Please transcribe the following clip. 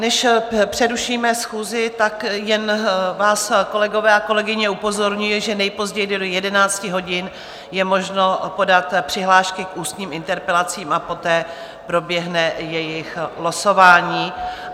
Než přerušíme schůzi, tak jen vás, kolegové a kolegyně, upozorňuji, že nejpozději do 11 hodin je možno podat přihlášky k ústním interpelacím a poté proběhne jejich losování.